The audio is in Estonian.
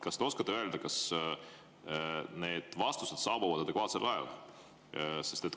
Kas te oskate öelda, kas vastused saabuvad adekvaatsel ajal?